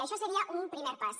això seria un primer pas